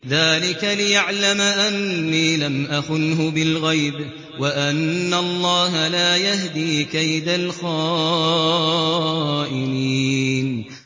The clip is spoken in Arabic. ذَٰلِكَ لِيَعْلَمَ أَنِّي لَمْ أَخُنْهُ بِالْغَيْبِ وَأَنَّ اللَّهَ لَا يَهْدِي كَيْدَ الْخَائِنِينَ